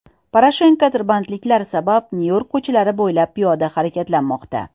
Poroshenko tirbandliklar sabab Nyu-York ko‘chalari bo‘ylab piyoda harakatlanmoqda.